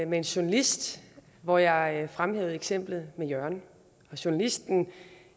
med en journalist hvor jeg fremhævede eksemplet med jørgen journalisten